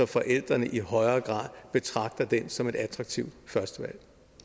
forældrene i højere grad betragter den som et attraktivt førstevalg